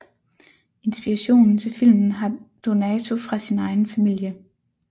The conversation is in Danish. Inspirationen til filmen har Donato fra sin egen familie